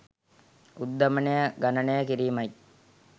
උද්ධමනය ගණනය කිරීමයි